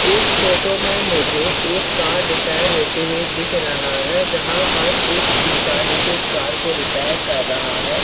इस फोटो में मुझे एक कार रिपेयर होते हुए दिख रहा है जहां पास एक इंसान इसे कार को रिपेयर कर रहा है।